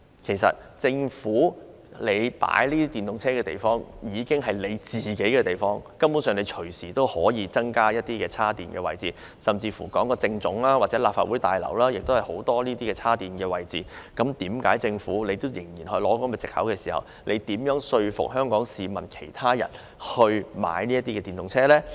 其實政府停泊電動車的地方已是政府停車場，根本隨時可以增加充電設施，而在政府總部或立法會大樓也有很多充電設施，為何政府仍然以此為藉口，試問又如何說服香港市民購買電動車呢？